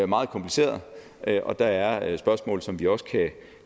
meget kompliceret og der er spørgsmål som vi også